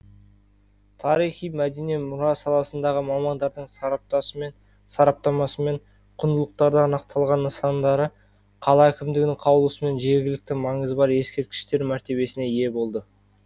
тарихи мәдени мұра саласындағы мамандардың сараптамасымен құндылықтары анықталған нысандары қала әкімдігінің қаулысымен жергілікті маңызы бар ескерткіштер мәртебесіне ие болды